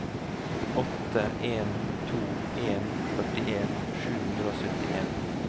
åtte en to en førtien sju hundre og syttien